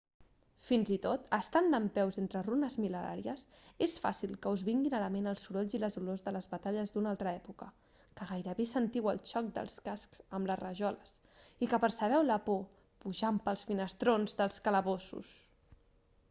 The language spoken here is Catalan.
fins i tot estant dempeus entre runes mil·lenàries és fàcil que us vinguin a la ment els sorolls i les olors de les batalles d'una altra època que gairebé sentiu el xoc dels cascs amb les rajoles i que percebeu la por pujant pels finestrons dels calabossos